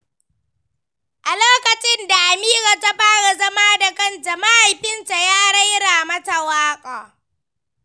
A lokacin da Amira ta fara zama da kanta, mahaifinta ya raira mata waƙa.